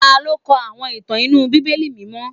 Ta ló kọ àwọn ìtàn inú Bíbélì mímọ́?